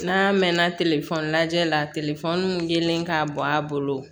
N'a mɛɛnna lajɛli la telefɔni min delilen k'a bɔ a bolo